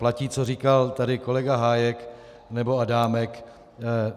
Platí, co říkal tady kolega Hájek nebo Adámek.